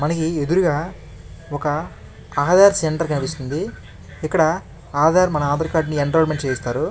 మనకి ఎదురుగా ఒక అహదర్ సెంటర్ కనిపిస్తుంది ఇక్కడ ఆధార్ మన ఆధార్ కార్డ్ ని ఎన్రోల్మెంట్ చేయిస్తారు.